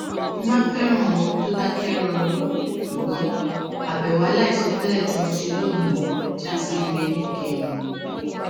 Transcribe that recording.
mo máa ń fẹràn òru tó dákẹ rọrọ ṣùgbọn àbèwò aláìsọ tẹlẹ tí mo ṣe lónìí já sí ire níkẹyìn